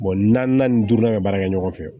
naani ni duuru bɛ baara kɛ ɲɔgɔn fɛ